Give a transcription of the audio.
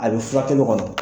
A bɛ furakɛli kɔnɔ.